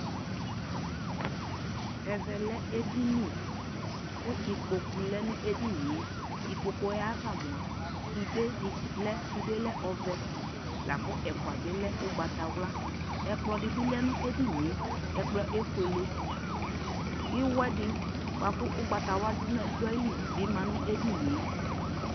Ɛvɛ lɛ ɛdini ku ikpoku lɛ nu ɛdini yɛIkpoku yɛ ava mua sude di lɛSude lɛ ɔvɛLa ku ɛfua bi lɛ ugbata wlaƐkplɔ di bi lɛ nu ɛdini yɛƐkplɔ yɛ ɛfueleIwɛ di bua ku ugbata wla du ayi li bi ma nu ɛdini yɛ